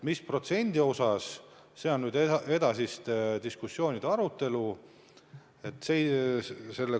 Mis protsendi võrra, see on edasiste diskussioonide teema.